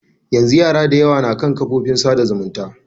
Yanzu yara da yawa na kan kafofin tsada zumunta.